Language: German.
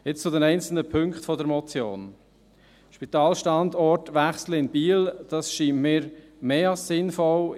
Jetzt zu den einzelnen Punkten der Motion: Den Spitalstandort in Biel zu wechseln, scheint mir mehr als sinnvoll.